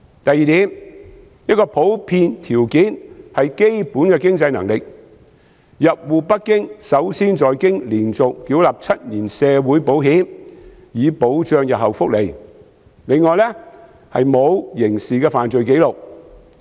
第二點，一個普遍條件是基本的經濟能力：入戶北京首先要在北京連續繳納7年社會保險，以保障日後福利；另外，沒有刑事犯罪紀錄。